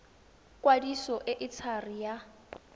kwadiso e e thari ya